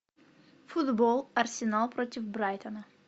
футбол арсенал против брайтона